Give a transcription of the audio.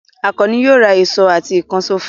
Àkànní yóò ra ìṣó àti ìkànṣó fún ẹ.